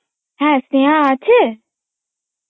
হ্যাঁ স্নেহা আছে?